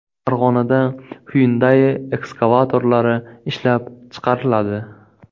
Farg‘onada Hyundai ekskavatorlari ishlab chiqariladi.